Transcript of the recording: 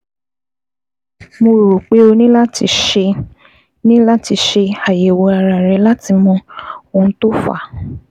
Mo rò pé o ní láti ṣe ní láti ṣe àyẹ̀wò ara rẹ láti mọ ohun tó fà á